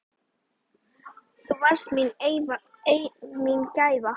Hvernig gerir hún það?